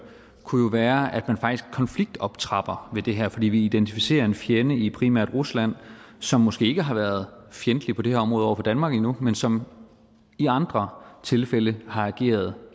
kunne jo være at man faktisk konfliktoptrapper ved det her fordi vi identificerer en fjende i primært rusland som måske ikke har været fjendtlig på det her område over for danmark endnu men som i andre tilfælde har ageret